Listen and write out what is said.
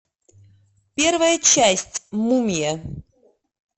первая часть мумия